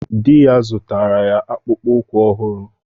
Di ya zụtara ya akpụkpọ ụkwụ ọhụrụ.